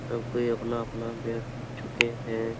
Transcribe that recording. सब कोई अपना अपना बैठ चुके हैं |